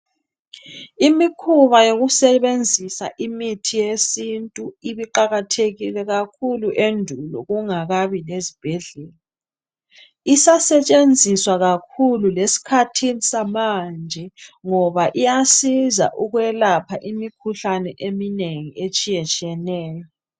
Imikhuba yokusebenzisa imithi yesintu ibe iqakathekile kakhulu endulo kungakabi lezibhedlela. Isasetshenziswa kakhulu lesikhathini samanje ngoba iyasiza ukwelapha imikhuhlane eminengi etshiya tshiyeneyo.